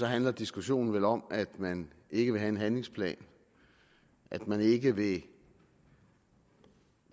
handler diskussionen vel om at man ikke vil have en handlingsplan at man ikke vil